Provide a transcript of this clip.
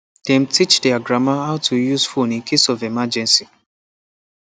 dem teach their grandma how to use phone in case of emergency